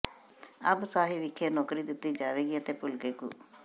ਅੰਬ ਸਾਹਿਬ ਵਿਖੇ ਨੌਕਰੀ ਦਿੱਤੀ ਜਾਵੇਗੀ ਅਤੇ ਭਲਕੇ ਗੁ